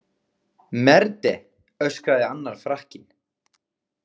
Merde, öskraði annar Frakkinn.